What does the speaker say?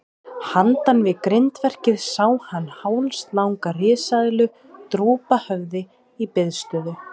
Handan við grindverkið sá hann hálslanga risaeðlu drúpa höfði í biðstöðu.